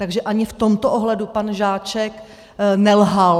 Takže ani v tomto ohledu pan Žáček nelhal.